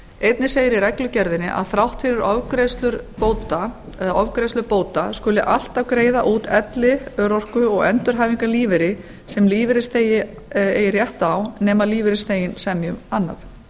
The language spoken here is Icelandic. einnig segir í reglugerðinni að þrátt fyrir ofgreiðslur bóta skuli alltaf greiða út elli örorku og endurhæfingarlífeyri sem lífeyrisþegi eigi rétt á nema lífeyrisþeginn semji um annað